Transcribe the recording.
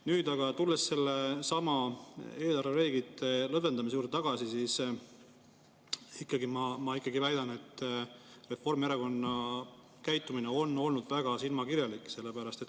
Nüüd, tulles eelarvereeglite lõdvendamise juurde, siis ma ikkagi väidan, et Reformierakonna käitumine on olnud väga silmakirjalik.